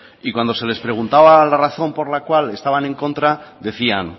y cuando se les preguntaba la razón por la cual estaban en contra decían